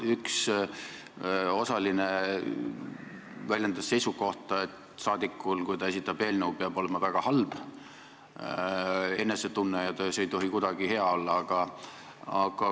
Üks osaline väljendas seisukohta, et rahvasaadikul, kui ta esitab eelnõu, peab olema väga halb enesetunne, see ei tohi kuidagi hea olla.